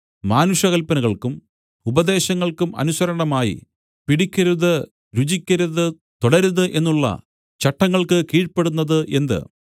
മാനുഷകല്പനകൾക്കും ഉപദേശങ്ങൾക്കും അനുസരണമായി പിടിക്കരുത് രുചിക്കരുത് തൊടരുത് എന്നുള്ള ചട്ടങ്ങൾക്ക് കീഴ്പെടുന്നത് എന്ത്